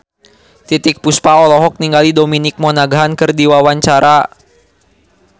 Titiek Puspa olohok ningali Dominic Monaghan keur diwawancara